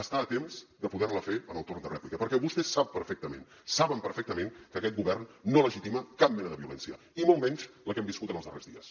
està a temps de poder la fer en el torn de rèplica perquè vostè sap perfectament saben perfectament que aquest govern no legitima cap mena de violència i molt menys la que hem viscut en els darrers dies